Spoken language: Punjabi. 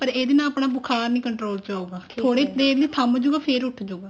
ਪਰ ਇਹਦੇ ਨਾਲ ਆਪਣਾ ਬੁਖਾਰ ਨੀ control ਚ ਆਉਗਾ ਥੋੜੇ ਦੇਰ ਲਈ ਥਮ ਜੁਗਾ ਫ਼ੇਰ ਉੱਠ ਜੁਗਾ